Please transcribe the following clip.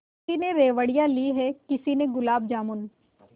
किसी ने रेवड़ियाँ ली हैं किसी ने गुलाब जामुन